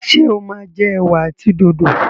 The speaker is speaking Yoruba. ṣe o ma jẹ ewa àti dòdo?